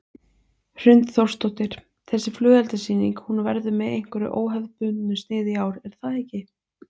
Hrund Þórsdóttir: Þessi flugeldasýning, hún verður með einhverju óhefðbundnu sniði í ár er það ekki?